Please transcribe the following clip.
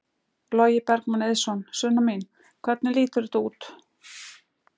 Logi Bergmann Eiðsson: Sunna mín, hvernig lítur þetta út?